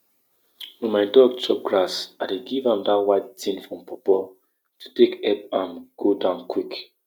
make you allow local insect wey dey chop pests instead of using pesticide so your soil garden go balance well for nature